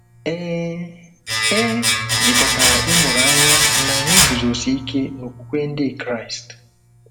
Ee, e jikọtara ịmụrụ anya na anyị iguzosi ike n’okwukwe Ndị Kraịst.